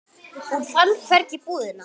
Hún fann hvergi búðina.